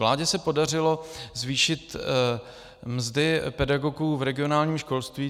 Vládě se podařilo zvýšit mzdy pedagogů v regionálním školství.